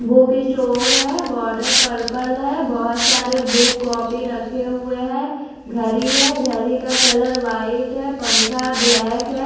Book store है border purple है बहोत सारे बुक कॉपी रखे हुए हैं घड़ी है घड़ी का कलर व्हाइट है पंखा ब्लैक है।